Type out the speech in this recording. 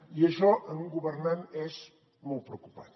i això en un governant és molt preocupant